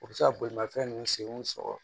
U bɛ se ka bolimafɛn ninnu senw sɔgɔ